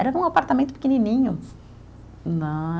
Era apartamento pequenininho né.